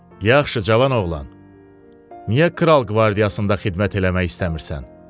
Yaxşı, Cavan oğlan, niyə kral qvardiyasında xidmət eləmək istəmirsən?